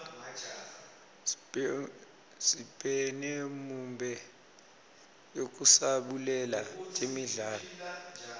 sibhnemiumb yekusabulela temidlalo